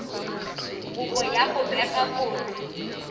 kopo ya go bega kotsi